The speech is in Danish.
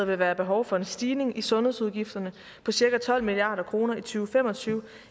vil være behov for en stigning i sundhedsudgifterne på cirka tolv milliard kroner i to fem og tyve